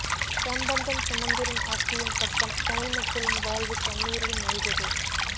சம்பந்தன் சுமந்திரன் ஆட்சியின் பக்கம் தமிழ் மக்களின் வாழ்வு கண்ணீரில் மூழ்குது